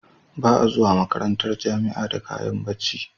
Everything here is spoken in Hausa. Ba a zuwa makarantar jamia da kayan bacci